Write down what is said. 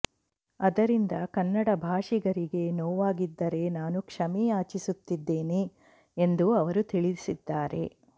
ಅದರಿಂದ ಕನ್ನಡ ಭಾಷಿಗರಿಗೆ ನೋವಾಗಿದ್ದರೆ ನಾನು ಕ್ಷಮೆ ಯಾಚಿಸುತ್ತಿದ್ದೇನೆ ಎಂದು ಅವರು ತಿಳಿಸಿದ್ದಾರೆ